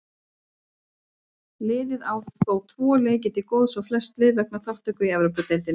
Liðið á þó tvo leiki til góða á flest lið vegna þátttöku í Evrópudeildinni.